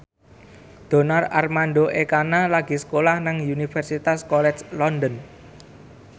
Donar Armando Ekana lagi sekolah nang Universitas College London